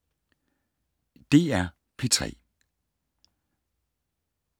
DR P3